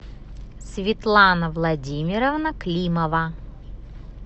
светлана владимировна климова